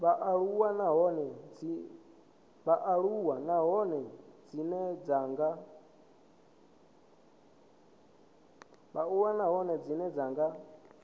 vhaaluwa nahone dzine dza nga